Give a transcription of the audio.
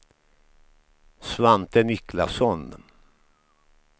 Svante Niklasson